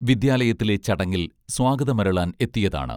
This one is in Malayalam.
വിദ്യാലയത്തിലെ ചടങ്ങിൽ സ്വാഗതം അരുളാൻ എത്തിയതാണ്